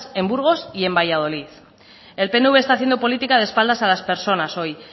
en burgos y en valladolid el pnv está haciendo política de espaldas a las personas hoy